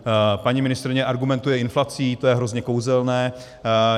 Paní ministryně argumentuje inflací, to je hrozně kouzelné.